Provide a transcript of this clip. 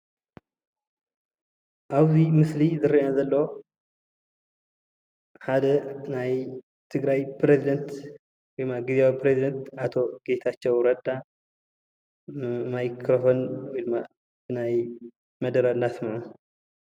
ኣብ'ዚ ምስሊ ዝረአ ዘሎ ሓደ ናይ ትግራይ ፕረዚዳንት ወይ ድማ ግዝያዊ ፕረዚዳንት ኣቶ ጌታቸው ረዳ ማይክረፎን ወይ ናይ መደረ እናስምዐ።